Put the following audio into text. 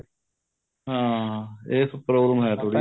ਹਾਂ ਏਸ ਚ problem ਏਹ ਥੋੜੀ ਜ਼ੀ